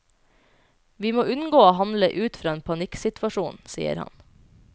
Vi må unngå å handle ut fra en panikksituasjon, sier han.